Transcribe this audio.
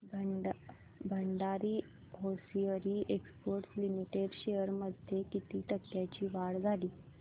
Bhandari hosiery exports limited shares मध्ये किती टक्क्यांची वाढ झाली